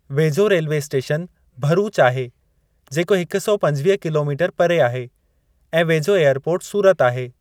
वेझो railway station Bharuch आहे जेको हिक सौ पंजवीह किलोमीटर परे आहे ऐं वेझो एअरपोर्ट सूरत आहे।